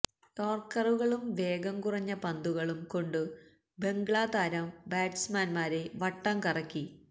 യോര്ക്കറുകളും വേഗം കുറഞ്ഞ പന്തുകളും കൊണ്ടു ബംഗ്ലാ താരം ബാറ്റ്സ്മാന്മാരെ വട്ടം കറക്കി